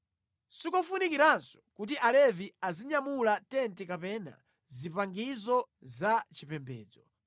sikofunikiranso kuti Alevi azinyamula tenti kapena zipangizo za chipembedzo.”